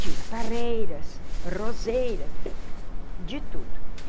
Tinha pareiras, roseiras, de tudo.